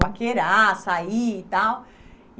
Paquerar, sair e tal.